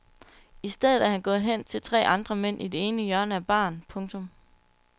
I stedet er han gået hen til tre andre mænd i det ene hjørne af baren. punktum